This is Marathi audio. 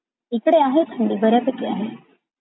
इकडे आहे थंडी बऱ्या पैकी आहे थंडी.